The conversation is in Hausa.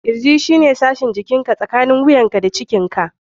Kirji shine sashin jikinka tsakanin wuyanka da cikinka (ciki).